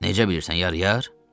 Necə bilirsən, yar-yar?